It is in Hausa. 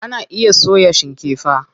Ana iya soya shikefa.